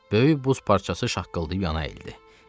Böyük buz parçası şaqqıldayıb yana əyildi.